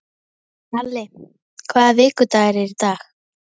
Ali, hvaða vikudagur er í dag?